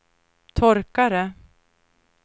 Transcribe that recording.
torkare